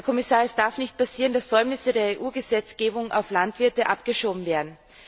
Herr Kommissar, es darf nicht passieren, dass Säumnisse der EU Gesetzgebung auf die Landwirte abgeschoben werden.